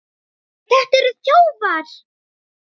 Þetta eru þjófar!